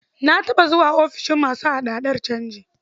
Na taɓa zuwa offishin masu hada-hadar canji.